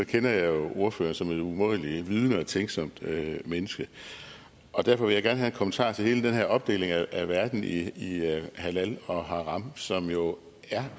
kender jeg jo ordføreren som et umådelig vidende og tænksomt menneske og derfor vil jeg gerne have en kommentar til hele den her opdeling af verden i halal og haram som jo